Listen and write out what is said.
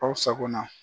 Aw sakona